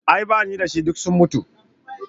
A'a bani dashi, duk sun mutu.